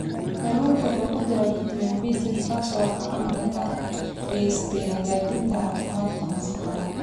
Kalluunka waxaa ku jira fitamiin B6 kaas oo gacan ka geysta hagaajinta caafimaadka maskaxda.